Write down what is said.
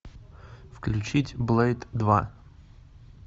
включить блэйд два